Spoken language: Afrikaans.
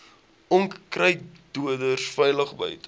onkruiddoders veilig buite